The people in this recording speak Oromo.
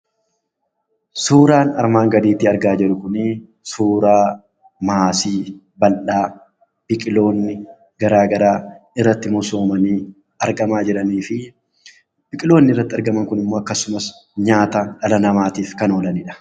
Suuraan armaan gadiitti argaa jirru kunii, suuraa maasii bal'aa biqilootni garaagaraa irratti misoomanii argamaa jiranii fi biqilootni irratti argaman kunis immoo akkasuma nyaataaf dhala namaatiif kan oolanidha.